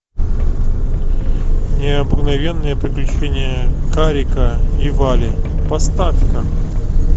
необыкновенные приключения карика и вали поставь ка